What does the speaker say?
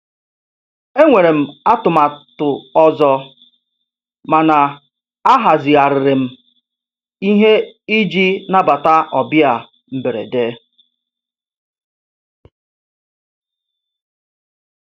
E nwere m atụmatụ ọzọ, mana ahazigharịrị m ihe iji nabata ọbịa mberede.